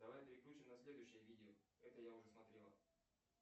давай переключим на следующее видео это я уже смотрел